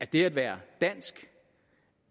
det at være dansk